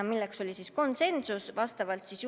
See oli konsensuslik otsus.